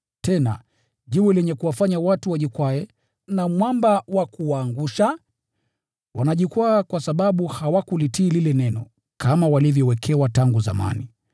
tena, “Jiwe lenye kuwafanya watu wajikwae, na mwamba wa kuwaangusha.” Wanajikwaa kwa sababu hawakulitii lile neno, kama walivyowekewa tangu zamani.